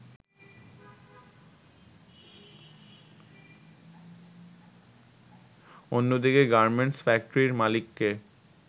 অন্যদিকে গার্মেন্টস ফ্যাক্টরির মালিককে